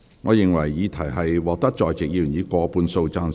我認為議題獲得在席議員以過半數贊成。